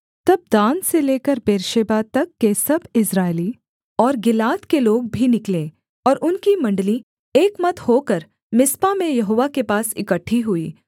तब दान से लेकर बेर्शेबा तक के सब इस्राएली और गिलाद के लोग भी निकले और उनकी मण्डली एकमत होकर मिस्पा में यहोवा के पास इकट्ठी हुई